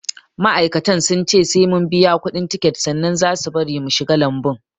Ma'aikatan sun ce sai mun biya kuɗin tiket sannan za au bari mu shiga lambun